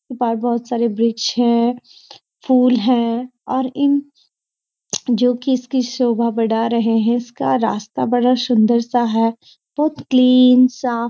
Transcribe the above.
उसके पार बहुत सारे वृक्ष है फूल हैं और इन जो कि इसकी शोभा बढ़ा रहे हैं इसका रास्‍ता बहुत सुन्‍दर-सा है बहुत क्लीन सा।